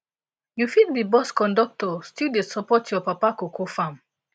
you fit be bus conductor still dey support your papa cocoa farm